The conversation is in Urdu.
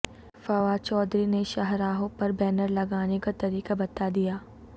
فواد چودھری نے شاہراہوں پر بینر لگانے کا طریقہ بتا دیا